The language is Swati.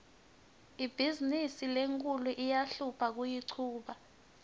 ibhizimisi lenkhulu iyahlupha kuyichuba